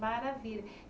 Maravilha.